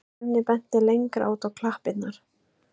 Svenni benti lengra út á klappirnar.